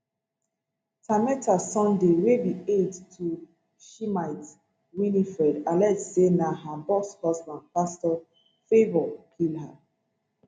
tameta sunday wey be aide to shimite winifred allege say na her boss husband pastor favour kill her